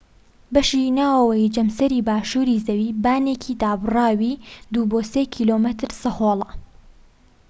بەشی ناوەوەی جەمسەری باشووری زەوی بانێکی دابڕاوی ٢-٣ کیلۆمەتر سەهۆڵە